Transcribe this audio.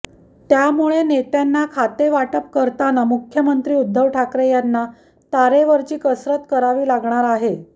त्यामुळे नेत्यांना खातेवाटप करताना मुख्यमंत्री उद्धव ठाकरे यांना तारेवरची कसरत करावी लागणार आहे